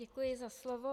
Děkuji za slovo.